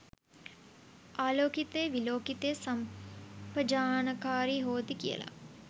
ආලෝකිතේ විලෝකිතේ සම්පජානකාරී හෝති කියල.